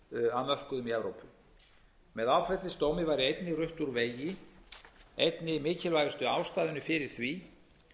að mörkuðum í evrópu með áfellisdómi væri einnig rutt úr vegi einni mikilvægustu ástæðunni fyrir því